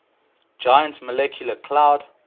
giant molecular cloud